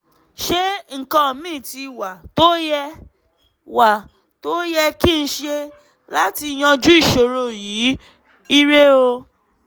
ṣé nǹkan míì wà tó yẹ wà tó yẹ kí n ṣe láti yanjú ìṣòro yìí? ire o